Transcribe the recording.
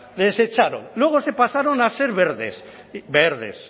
les echaron luego se pasaron a ser verdes verdes